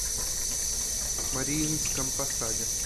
мариинском посаде